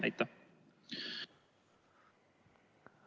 Aitäh!